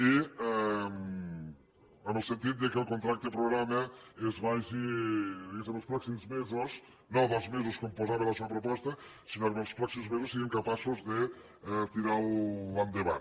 i en el sentit que el contracte programa es vagi diguéssem els pròxims mesos no dels mesos que em posava la seua proposta sinó que en els pròxims mesos siguin capaços de tirar lo endavant